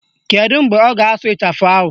Kedu mgbe ọ ga-asụ ịchafụ ahụ?